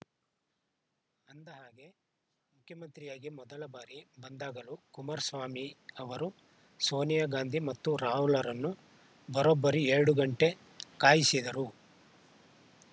ಅಂದಹಾಗೆ ಮುಖ್ಯಮಂತ್ರಿಯಾಗಿ ಮೊದಲ ಬಾರಿ ಬಂದಾಗಲೂ ಕುಮಾರಸ್ವಾಮಿ ಅವರು ಸೋನಿಯಾ ಗಾಂಧಿ ಮತ್ತು ರಾಹುಲರನ್ನು ಬರೋಬ್ಬರಿ ಎರಡು ಗಂಟೆ ಕಾಯಿಸಿದ್ದರು